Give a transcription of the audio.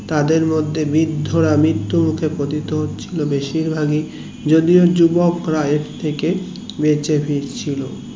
তাদের মধ্যে বৃদ্ধরা মৃত্যুর মুখে পতিত হচ্ছিলো বেশির ভাগ ই যদিও যুবকরা এর থেকে বেঁচে ফিরছিলো